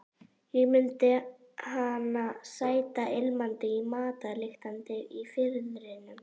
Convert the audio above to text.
Ég mundi hana sæta og ilmandi í matarlyktinni í Firðinum.